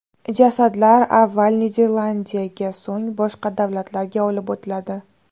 Jasadlar avval Niderlandiyaga, so‘ng boshqa davlatlarga olib o‘tiladi.